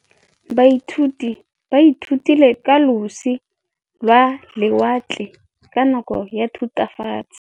Baithuti ba ithutile ka losi lwa lewatle ka nako ya Thutafatshe.